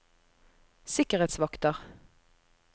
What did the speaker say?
sikkerhetsvakter